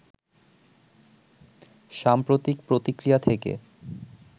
সাম্প্রতিক প্রতিক্রিয়া থেকে